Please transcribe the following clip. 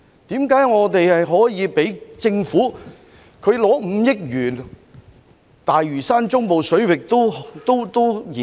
為何我們可以讓政府獲得超過5億元進行大嶼山中部水域人工島研究？